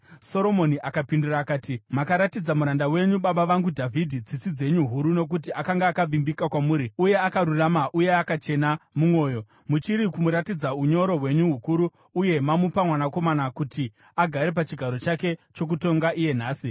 Soromoni akapindura akati, “Makaratidza muranda wenyu, baba vangu Dhavhidhi, tsitsi dzenyu huru nokuti akanga akavimbika kwamuri uye akarurama uye akachena mumwoyo. Muchiri kumuratidza unyoro hwenyu hukuru uye mamupa mwanakomana kuti agare pachigaro chake chokutonga iye nhasi.